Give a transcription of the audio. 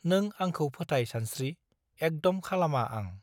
नों आंखौ फोथाय सानस्त्रि एकदम खालामा आं